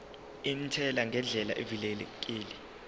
intela ngendlela evikelekile